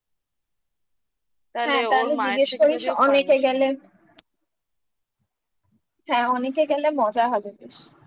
জিজ্ঞেস করিস অনেকে গেলেন হ্যাঁ অনেকে গেলে মজা হবে বেশ